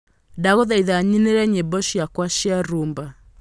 Ndagũthaitha nyinĩre nyĩmbo ciakwa cia rumba